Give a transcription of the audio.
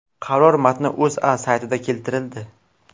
Qaror matni O‘zA saytida keltirildi .